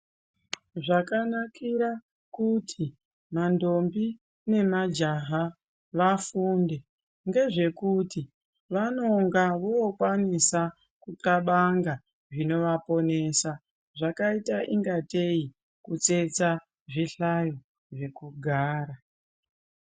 Zvakanakira kuti mandombi nemajaha vafunde, ngezvekuti vanonga vokwanisa kuxabanga, zvinovaponesa zvakaita ingatei kutsetsa zvihlayo zvekugara.